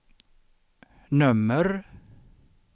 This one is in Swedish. nummer